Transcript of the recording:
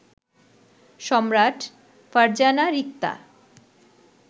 Samrat, Farzana Rikta